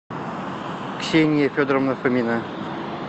ксения федоровна фомина